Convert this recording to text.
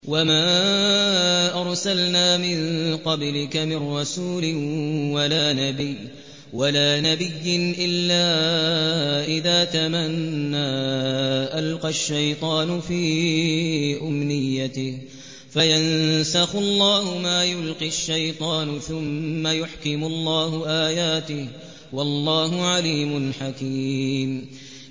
وَمَا أَرْسَلْنَا مِن قَبْلِكَ مِن رَّسُولٍ وَلَا نَبِيٍّ إِلَّا إِذَا تَمَنَّىٰ أَلْقَى الشَّيْطَانُ فِي أُمْنِيَّتِهِ فَيَنسَخُ اللَّهُ مَا يُلْقِي الشَّيْطَانُ ثُمَّ يُحْكِمُ اللَّهُ آيَاتِهِ ۗ وَاللَّهُ عَلِيمٌ حَكِيمٌ